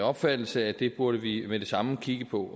opfattelse at det burde vi med det samme kigge på